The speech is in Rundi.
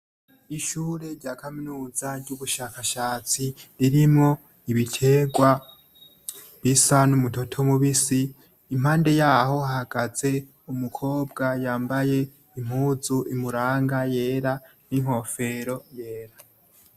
Ishure rya kaminuza ry'ubushakashatsi ririmwo ibiterwa bisa n'umutoto mubisi, impande yaho hahagaze umukobwa yambaye impuzu imuranga yera n'inkofero yera.